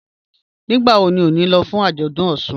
Nígbàwọ̀ ní o ní lọ̀ fún ajọ́dún Ọṣun?